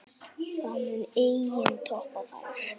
Það mun enginn toppa þær.